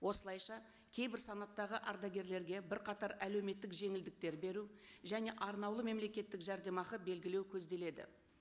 осылайша кейбір санаттағы ардагерлерге бірқатар әлеуметтік жеңілдіктер беру және арнаулы мемлекеттік жәрдемақы белгілеу көзделеді